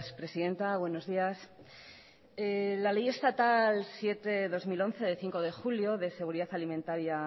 presidenta buenos días la ley estatal siete barra dos mil once de cinco julio de seguridad alimentaria